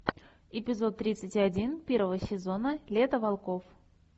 эпизод тридцать один первого сезона лето волков